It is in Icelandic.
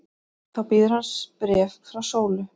Þá bíður hans bréf frá Sólu.